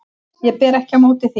Ég ber ekki á móti því.